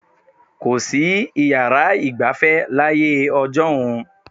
Kò sí yàrá ìgbafẹ́ láyé ọjọ́un.